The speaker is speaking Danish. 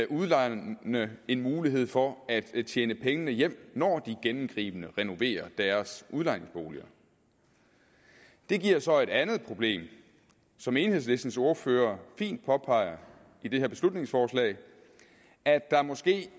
udlejerne en mulighed for at tjene pengene hjem når de gennemgribende renoverer deres udlejningsboliger det giver så et andet problem som enhedslistens ordfører fint påpeger i det her beslutningsforslag at der måske